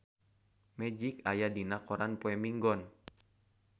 Magic aya dina koran poe Minggon